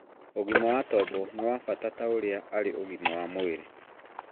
ũgima wa tombo nĩ wa bata ta ũrĩa arĩ ũgima wa mwĩrĩ